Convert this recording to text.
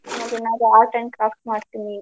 ಮತ್ತೆ ಏನಾದ್ರು art and craft ಮಾಡ್ತೀನಿ.